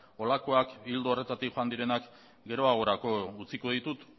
holakoak ildo horretatik joan direnak geroagorako utziko ditut